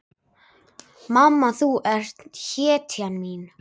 Mamma, þú ert hetjan mín.